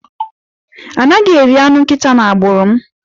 A naghi eri anụ nkịta n'agbụrụ m.